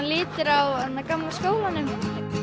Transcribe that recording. litir á gamla skólanum